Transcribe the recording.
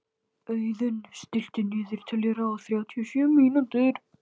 Auðunn, stilltu niðurteljara á þrjátíu og sjö mínútur.